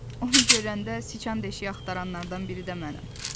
Onu görəndə siçan deşiyi axtaranlardan biri də mənəm.